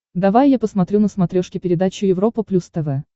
давай я посмотрю на смотрешке передачу европа плюс тв